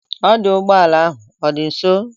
Ọdụụgbọala ahụ ọ dị nso?